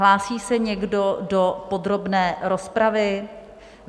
Hlásí se někdo do podrobné rozpravy?